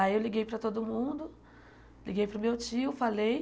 Aí eu liguei para todo mundo, liguei para o meu tio, falei.